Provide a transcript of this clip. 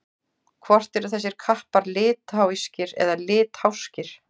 Hvort eru þessir kappar litháískir eða litháskir?